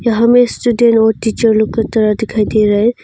हमें स्टूडेंट और टीचर लोग की तरह दिखाई दे रहा है।